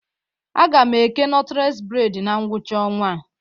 A ga m eke nọtles bred na ngwụcha ọnwa a